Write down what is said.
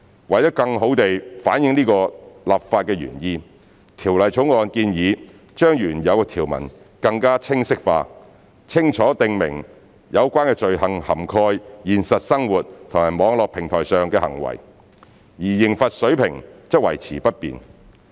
為了更好反映此立法原意，《條例草案》建議將原有條文更清晰化，清楚訂明有關罪行涵蓋現實生活和網絡平台上的行為，而刑罰水平則維持不變。